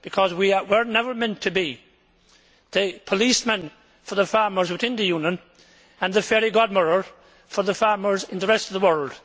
We were never meant to be the policeman for the farmers within the Union and the fairy godmother for the farmers in the rest of the world.